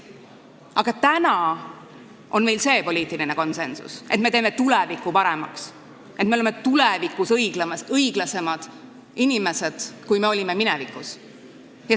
Aga täna on meil selline poliitiline konsensus, et me teeme tuleviku paremaks, et me oleme tulevikus õiglasemad inimesed, kui me olime minevikus.